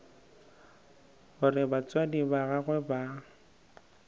gore batswadi ba gagwe ba